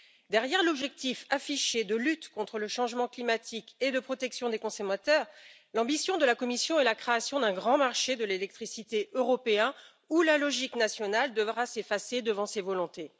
Derrière l'objectif affiché de lutte contre le changement climatique et de protection des consommateurs, l'ambition de la Commission est la création d'un grand marché de l'électricité européen où la logique nationale devra s'effacer devant ses volontés.